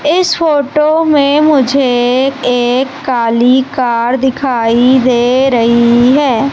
इस फोटो में मुझे एक काली कार दिखाई दे रही है।